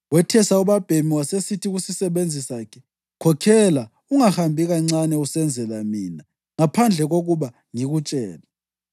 Wethesa ubabhemi wasesithi kusisebenzi sakhe, “Khokhela; ungahambi kancane usenzela mina ngaphandle kokuba ngikutshele.”